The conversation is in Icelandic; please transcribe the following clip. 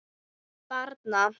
Rödd barna